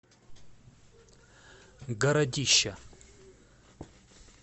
городища